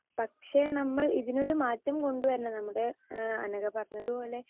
speaker 2 പക്ഷേ നമ്മൾ ഇതിനൊരു മാറ്റം കൊണ്ടുവരണം നമ്മുടെ ഏഹ് അനഘ പറഞ്ഞതുപോലെ